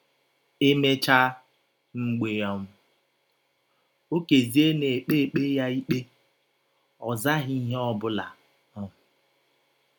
E mechaa, mgbe um Okezie na - ekpe - ekpe ya ikpe “ ọ zaghị ihe ọ bụla. um ”